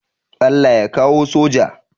Allah ya kawo soja